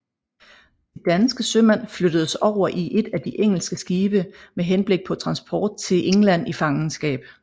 De danske sømænd flyttedes over i et af de engelske skibe med henblik på transport til England i fangenskab